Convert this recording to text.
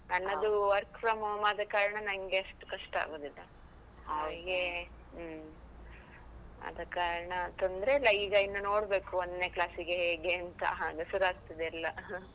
ನನ್ನದು work from home ಆದ ಕಾರಣ, ನನ್ಗೆ ಅಷ್ಟು ಕಷ್ಟ ಆಗುದಿಲ್ಲ. ಅವನಿಗೆ, ಹ್ಮ್. ಆದ ಕಾರಣ ತೊಂದ್ರೆ ಇಲ್ಲ ಈಗ ಇನ್ನು ನೋಡ್ಬೇಕು ಒಂದ್ನೇ class ಗೆ ಹೇಗೆಂತ, ಆಗ ಶುರುಆಗ್ತದೆ ಎಲ್ಲಾ